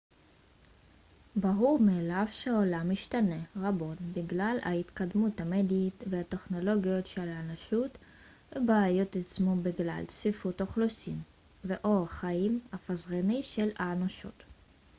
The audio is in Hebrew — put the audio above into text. ברור מאליו שהעולם השתנה רבות בגלל ההתקדמות המדעית והטכנולוגית של האנושות ובעיות התעצמו בגלל צפיפות אוכלוסין ואורח החיים הפזרני של האנושות